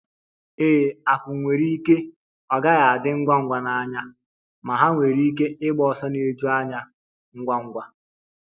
Ee, akum nwere ike ọ gaghị adi ngwa ngwa n'anya, ma ha nwere ike ịgba ọsọ na-eju anya ngwa ngwa